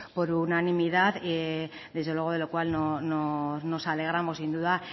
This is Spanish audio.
por unanimidad desde luego de lo cual nos alegramos sin duda